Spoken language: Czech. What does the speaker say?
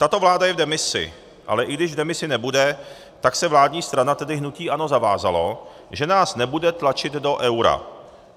Tato vláda je v demisi, ale i když v demisi nebude, tak se vládní strana, tedy hnutí ANO, zavázala, že nás nebude tlačit do eura.